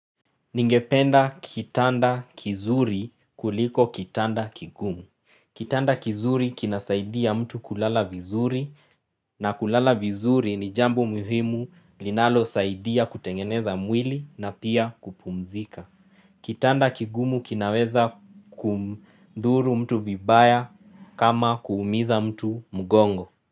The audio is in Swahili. Ningependa kitanda kizuri kuliko kitanda kigumu. Kitanda kizuri kinasaidia mtu kulala vizuri na kulala vizuri ni jambo muhimu linalosaidia kutengeneza mwili na pia kupumzika. Kitanda kigumu kinaweza kumdhuru mtu vibaya kama kuumiza mtu mgongo.